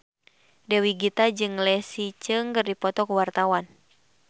Dewi Gita jeung Leslie Cheung keur dipoto ku wartawan